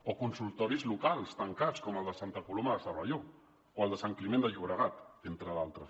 o consultoris locals tancats com el de santa coloma de cervelló o el de sant climent de llobregat entre d’altres